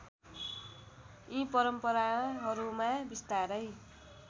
यी परम्पराहरूमा बिस्तारै